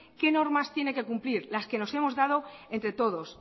qué normas tiene que cumplir las que nos hemos dado entre todos